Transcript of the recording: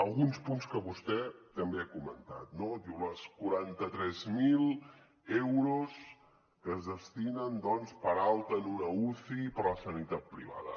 alguns punts que vostè també ha comentat no diu els quaranta tres mil euros que es destinen doncs per alta en una uci per a la sanitat privada